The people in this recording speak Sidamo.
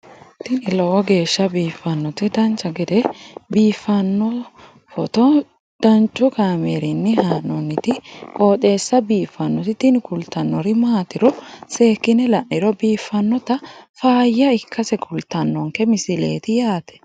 tini lowo geeshsha biiffannoti dancha gede biiffanno footo danchu kaameerinni haa'noonniti qooxeessa biiffannoti tini kultannori maatiro seekkine la'niro biiffannota faayya ikkase kultannoke misileeti yaate